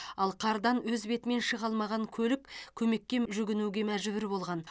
ал қардан өз бетімен шыға алмаған көлік көмекке м жүгінуге мәжбүр болған